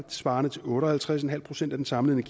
svarende til otte og halvtreds en halv procent af den samlede